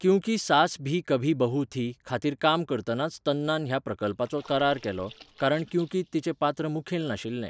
क्युंकी सास भी कभी बहु थी' खातीर काम करतनाच तन्नान ह्या प्रकल्पाचो करार केलो, कारण क्युंकींत तिचें पात्र मुखेल नाशिल्लें.